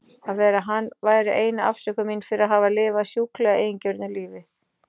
Að vera hann væri eina afsökun mín fyrir að hafa lifað sjúklega eigingjörnu lífi.